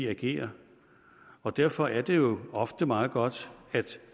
agerer og derfor er det jo ofte meget godt